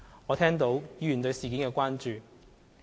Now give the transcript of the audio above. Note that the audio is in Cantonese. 我聽到議員對事件的關注。